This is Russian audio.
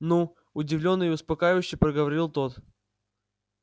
ну удивлённо и успокаивающе проговорил тот